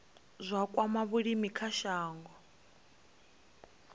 zwa kwama vhulimi kha shango